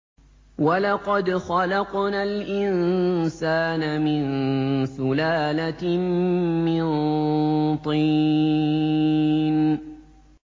وَلَقَدْ خَلَقْنَا الْإِنسَانَ مِن سُلَالَةٍ مِّن طِينٍ